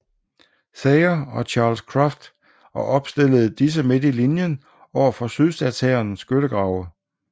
Thayer og Charles Cruft og opstillede disse midt i linjen overfor sydstatshærens skyttegrave